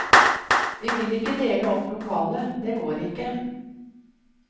Vi vil ikke dele opp lokalet, det går ikke.